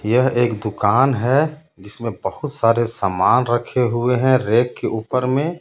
यह एक दुकान है जिसमें बहुत सारे सामान रखे हुए हैं रैक के ऊपर में.